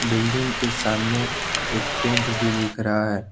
Building के सामने एक टेंट भी दिख रहा है।